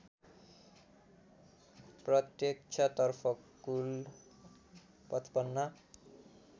प्रत्यक्षतर्फ कुल ५५